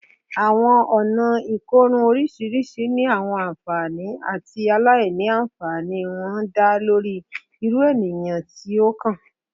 Awọn ọna ikorun oriṣiriṣi ni awọn anfani ati aila-nfani wọn da lori iru eniyan ti o kan